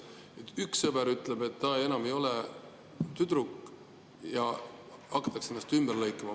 Üks sõber ütleb, et ta enam ei ole tüdruk, ja hakatakse ennast ümber lõikama.